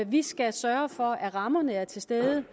vi skal sørge for at rammerne er til stede